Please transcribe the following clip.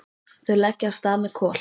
Þau leggja af stað með Kol.